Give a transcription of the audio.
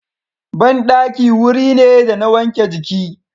Banɗaki wuri ne da na wanke jiki.